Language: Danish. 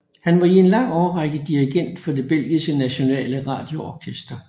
Han var i en lang årrække dirigent for det Belgiske Nationale Radio Orkester